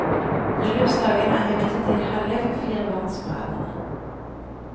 Bryllupsdagen er imidlertid hellig for firebarnsforeldrene.